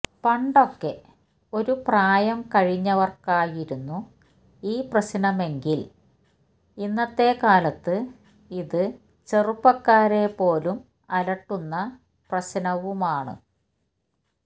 പണ്ടൊക്കെ ഒരു പ്രായം കഴിഞ്ഞവര്ക്കായിരുന്നു ഈ പ്രശ്നമെങ്കില് ഇന്നത്തെ കാലത്ത് ഇത് ചെറുപ്പക്കാരെ പോലും അലട്ടുന്ന പ്രശ്നവുമാണ്